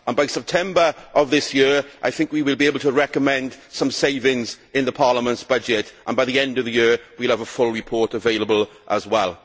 By September of this year I think we will be able to recommend some savings in Parliament's budget and by the end of the year we will have a full report available as well.